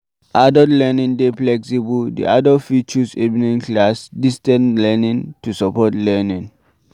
Adult learning dey flexible, di adult fit choose evening class, distance learning to support learning